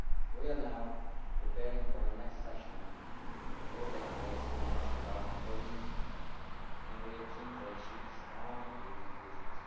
We are now preparing for the next session, which will take place in March 2014 and we are keen to achieve strong Agreed Conclusions.